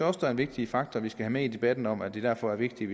også er en vigtig faktor vi skal have med i debatten om at det derfor er vigtigt